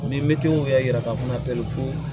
Ni mɛtiriw y'a yira k'a fɔ fana ko